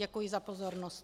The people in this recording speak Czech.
Děkuji za pozornost.